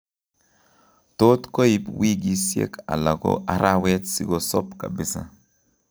Tot koib wikisiek ala ko araweek sikosob kabisa